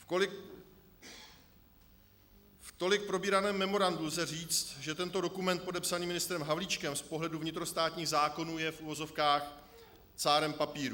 K tolik probíranému memorandu lze říct, že tento dokument podepsaný ministrem Havlíčkem z pohledu vnitrostátních zákonů je v uvozovkách cárem papíru.